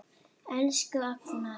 Elsku Agnar.